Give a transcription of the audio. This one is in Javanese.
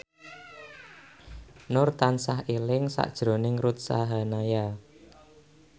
Nur tansah eling sakjroning Ruth Sahanaya